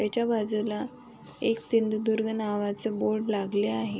त्याच्या बाजूला एक सिंधुदुर्ग नावाच बोर्ड लागले आहे.